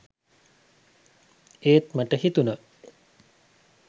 ඒත් මට හිතුණා